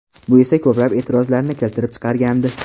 Bu esa ko‘plab e’tirozlarni keltirib chiqargandi .